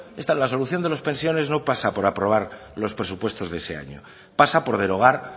la solución de las pensiones no pasa por aprobar los presupuestos de ese año pasa por derogar